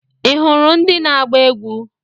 Ị hụrụ ndị na-agba egwu?